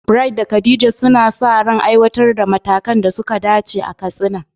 Bright da Khadija suna sa ran aiwatar da matakan da suka dace a Katsina.